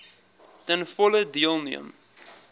ten volle deelneem